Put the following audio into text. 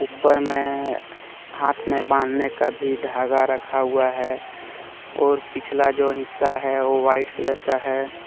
ऊपर में हाथ में बांधने का भी धागा रखा हुआ है और पिछला जो हिस्सा है वो वाइट कलर का है।